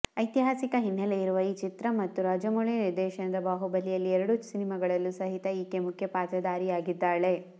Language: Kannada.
ಐತಿಹಾಸಿಕ ಹಿನ್ನೆಲೆ ಇರುವ ಈ ಚಿತ್ರ ಮತ್ತು ರಾಜಮೌಳಿ ನಿರ್ದೇಶನದ ಬಾಹುಬಲಿಯಲ್ಲಿ ಎರಡು ಸಿನಿಮಾಗಳಲ್ಲೂ ಸಹಿತ ಈಕೆ ಮುಖ್ಯ ಪಾತ್ರಧಾರಿಯಾಗಿದ್ದಾಳೆ